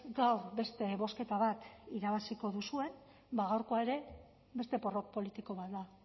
gaur beste bozketa bat irabaziko duzuen ba gaurkoa ere beste porrot politiko bat da